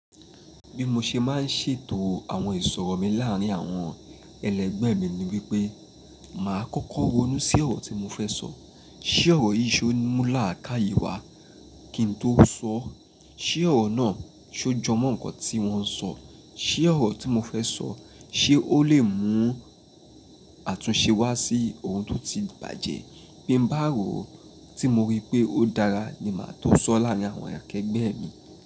Bí mo ṣe má ń ṣètò àwọn ìsọ̀rọ̀ mi láàrín àwọn ẹlẹgbẹ́ mi ni wípé, màá kọ́kọ́ ronú sí ọ̀rọ̀ tí mo fẹ́ sọ. Ṣé ọ̀rọ̀ yìí so mú láàkáàyè wa kí n tó sọ? Ṣé ọ̀rọ̀ náà so jọ mọ́ nǹkan tí wọ́n ń sọ? Ṣé ọ̀rọ̀ tí mo fẹ́ sọ, ṣé ó lè mú àtúnṣe wá sí ohun tó ti bàjẹ́? Bí n bá rò ó tí mo rí pé ó dára ni màá tún sọ̀ ọ́ láàrín àwọn akẹgbẹ́ mi.